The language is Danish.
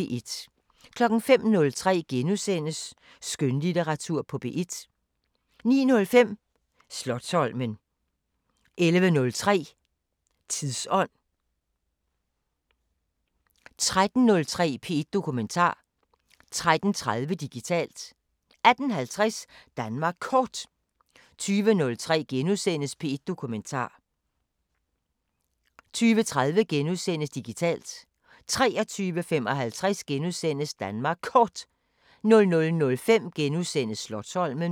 05:03: Skønlitteratur på P1 * 09:05: Slotsholmen 11:03: Tidsånd 13:03: P1 Dokumentar 13:30: Digitalt 18:50: Danmark Kort 20:03: P1 Dokumentar * 20:30: Digitalt * 23:55: Danmark Kort * 00:05: Slotsholmen *